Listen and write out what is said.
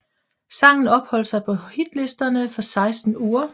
Sangen opholdt sig på hitlisterne for seksten uger